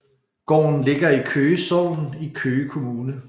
Gården ligger i Køge Sogn i Køge Kommune